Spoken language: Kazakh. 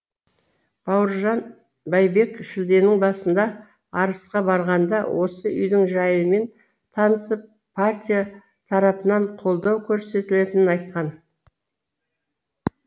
бауыржан байбек шілденің басында арысқа барғанда осы үйдің жайымен танысып партия тарапынан қолдау көрсетілетінін айтқан